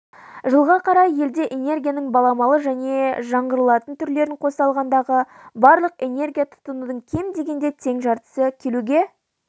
жылға қарай елде энергияның баламалы және жаңғыртылатын түрлерін қоса алғандағы барлық энергия тұтынудың кем дегенде тең жартысы келуге